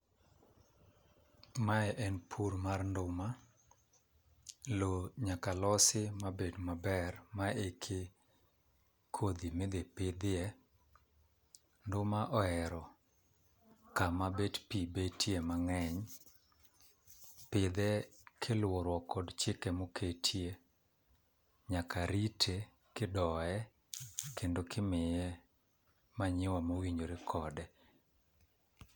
Mae en pur mar nduma, loo nyaka losi ma bed maber ma eki kodhi midhie pidhie. Nduma ohero kama bet pii betie mang'eny. Pidhe kiluoruok kod chike moketie ,nyaka rite ki doye kendo ki miye manure mowinjore kode.